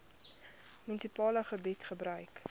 munisipale gebied gebruik